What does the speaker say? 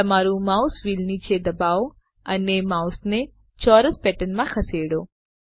તમારું mouse wheel નીચે દબાવો અને માઉસને ચોરસ પેટર્નમાં ખસેડો